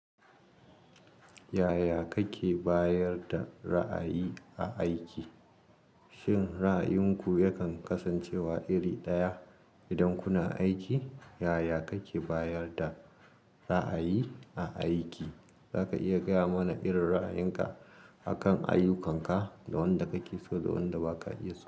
Yaya kake bayar da ra'ayi a aiki? Shin ra'ayinku yakan kasance wa iri ɗaya idan kuna aiki? Yaya kake bayar da ra'ayi a aiki? Zaka iya gaya muna irin ra'ayinka akan ayukkan ka, da wanda kake so da wanda ba ka iya so.